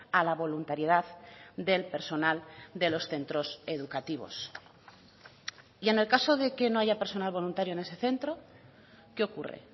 a la voluntariedad del personal de los centros educativos y en el caso de que no haya personal voluntario en ese centro qué ocurre